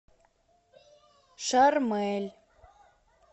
шармель